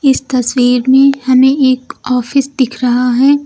इस तस्वीर में हमें एक ऑफिस दिख रहा है।